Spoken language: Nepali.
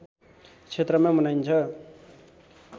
क्षेत्रमा मनाइन्छ